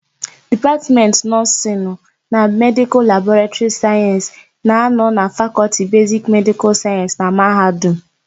Dipatmentị Nọọsịnụ na Medịkal labụ Sayensị na-anọ na Fakọlti Besiki Medịkal Sayensị na mahadum.